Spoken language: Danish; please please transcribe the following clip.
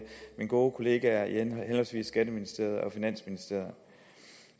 mine gode kollegaer i henholdsvis skatteministeriet og finansministeriet